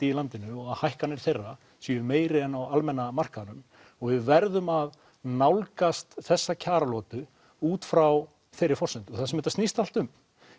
í landinu og að hækkanir þeirra séu meiri en á almenna markaðnum og við verðum að nálgast þessa kjaralotu út frá þeirri forsendu það sem þetta snýst allt um